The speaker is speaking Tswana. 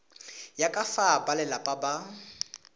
ya ka fa balelapa ba